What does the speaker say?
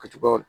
Ka cun a kan